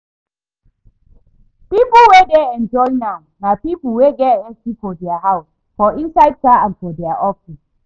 People wey dey enjoy now na people wey get AC for dia house, for inside car and for dia office